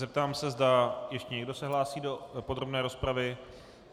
Zeptám se, zda ještě někdo se hlásí do podrobné rozpravy.